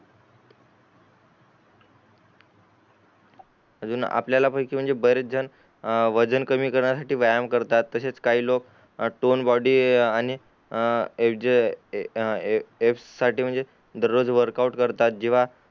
अजून आपल्याला पैकि बरेच जण अ वजन कमी करण्या साठी व्यायाम करतात तसेच काही लोक टोन बॉडी आणि साठी म्हणजे वर्क आऊट करतात जेव्हा